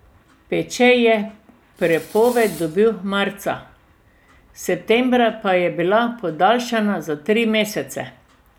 Peče je prepoved dobil marca, septembra pa je bila podaljšana za tri mesece.